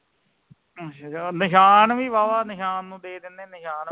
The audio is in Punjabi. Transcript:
ਨਿਸ਼ਾਨ ਵੀ ਵਾਵਾ ਨਿਸ਼ਾਨ ਨੂੰ ਦੇ ਦਿਨੇ ਨਿਸ਼ਾਨ